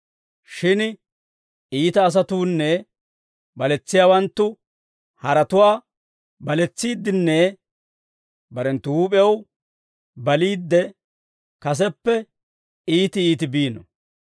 Shin iita asatuunne baletsiyaawanttu haratuwaa baletsiiddenne barenttu huup'ew baliidde, kaseppe iiti iiti biino.